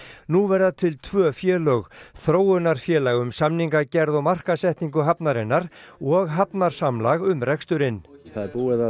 nú verða til tvö félög þróunarfélag um samningagerð og markaðssetningu hafnarinnar og um reksturinn það er búið að